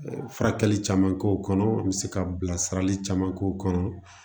Furakɛli caman k'o kɔnɔ n bɛ se ka bilasirali caman k'o kɔnɔ